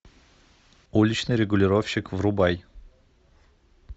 уличный регулировщик врубай